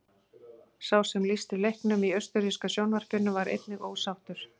Sá sem lýsti leiknum í austurríska sjónvarpinu var einnig ósáttur.